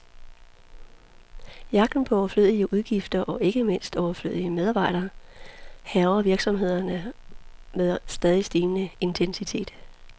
Jagten på overflødige udgifter, og ikke mindst overflødige medarbejdere, hærger virksomhederne med stadig stigende intensitet.